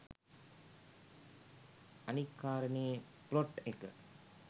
අනික් කාරණේ ප්ලොට් එක